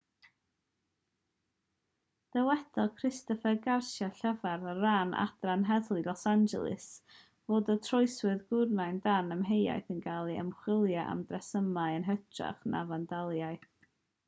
dywedodd christopher garcia llefarydd ar ran adran heddlu los angeles fod y troseddwr gwrywaidd dan amheuaeth yn cael ei ymchwilio am dresmasu yn hytrach na fandaliaeth